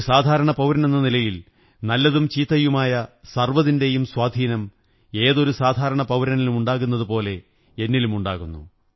ഒരു സാധാരണ പൌരനെന്ന നിലയിൽ നല്ലതും ചീത്തയുമായ സര്വ്വ്തിന്റെയും സ്വാധീനം ഏതൊരു സാധാരണ പൌരനിലുമുണ്ടാകുന്നതുപോലെ എന്നിലുമുണ്ടാകുന്നു